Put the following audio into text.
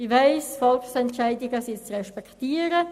Ich weiss, Volksentscheide sind zu respektieren.